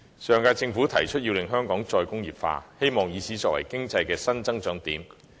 上屆政府提出香港"再工業化"的目標，希望以此作為新經濟增長點。